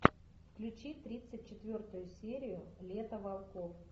включи тридцать четвертую серию лето волков